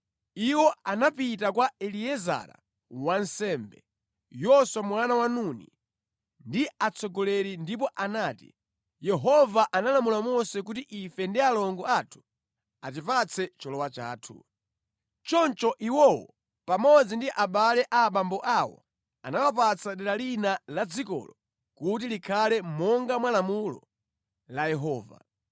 Iwo anapita kwa Eliezara wansembe, Yoswa mwana wa Nuni, ndi atsogoleri ndipo anati: “Yehova analamula Mose kuti ife ndi alongo athu atipatse cholowa chathu.” Choncho iwowo pamodzi ndi abale a abambo awo anawapatsa dera lina la dzikolo kuti likhale monga mwa lamulo la Yehova.